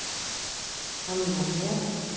Hann var með